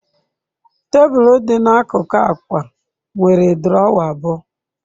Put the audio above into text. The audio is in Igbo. Tebụl dị n'akụkụ akwa nwere drawer abụọ.